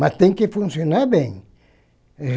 Mas tem que funcionar bem.